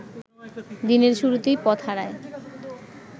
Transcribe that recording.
দিনের শুরুতেই পথ হারায়